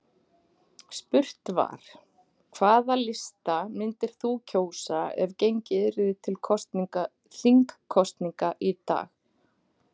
Spurt var: Hvaða lista myndir þú kjósa ef gengið yrði til þingkosninga í dag?